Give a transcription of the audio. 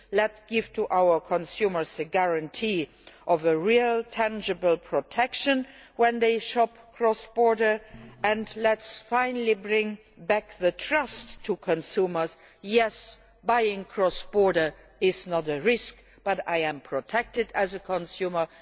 let us give our consumers a guarantee of real, tangible protection when they shop cross border and let us finally bring back trust to consumers buying cross border is not a risk I am protected as a consumer.